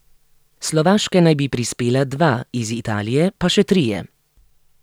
S Slovaške naj bi prispela dva, iz Italije pa še trije.